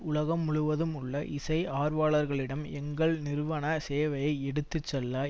உலகம் முழுவதும் உள்ள இசை ஆர்வலர்களிடம் எங்கள் நிறுவன சேவையை எடுத்து செல்ல